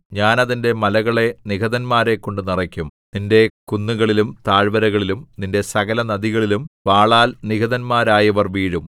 ഞാൻ അതിന്റെ മലകളെ നിഹതന്മാരെക്കൊണ്ടു നിറയ്ക്കും നിന്റെ കുന്നുകളിലും താഴ്വരകളിലും നിന്റെ സകലനദികളിലും വാളാൽ നിഹതന്മാരായവർ വീഴും